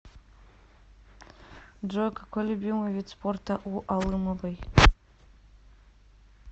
джой какой любимый вид спорта у алымовой